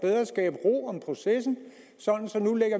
processen så